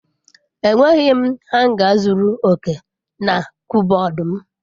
Enweghị m hanga zuru oke na kọbọd m.